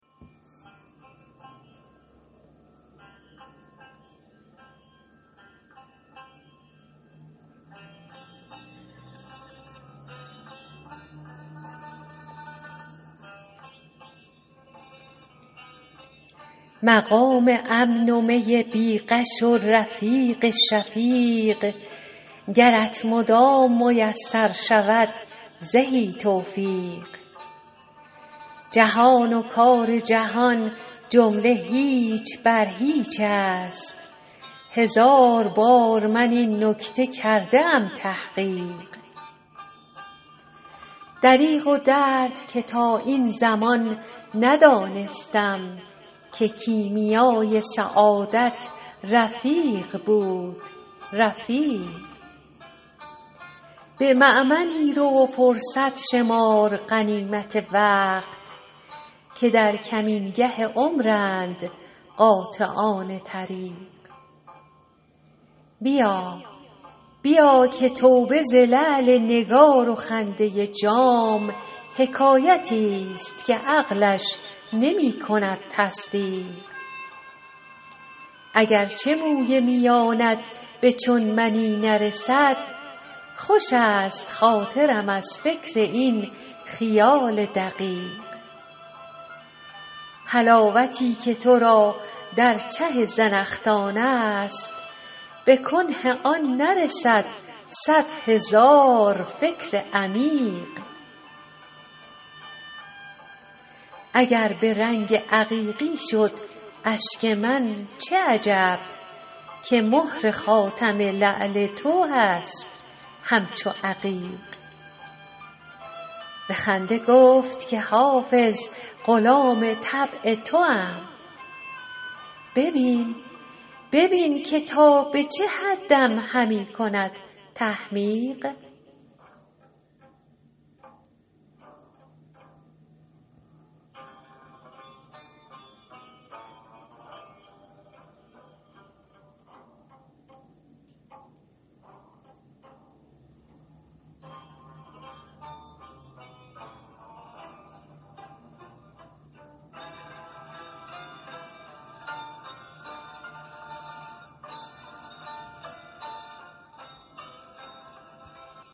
مقام امن و می بی غش و رفیق شفیق گرت مدام میسر شود زهی توفیق جهان و کار جهان جمله هیچ بر هیچ است هزار بار من این نکته کرده ام تحقیق دریغ و درد که تا این زمان ندانستم که کیمیای سعادت رفیق بود رفیق به مأمنی رو و فرصت شمر غنیمت وقت که در کمینگه عمرند قاطعان طریق بیا که توبه ز لعل نگار و خنده جام حکایتی ست که عقلش نمی کند تصدیق اگر چه موی میانت به چون منی نرسد خوش است خاطرم از فکر این خیال دقیق حلاوتی که تو را در چه زنخدان است به کنه آن نرسد صد هزار فکر عمیق اگر به رنگ عقیقی شد اشک من چه عجب که مهر خاتم لعل تو هست همچو عقیق به خنده گفت که حافظ غلام طبع توام ببین که تا به چه حدم همی کند تحمیق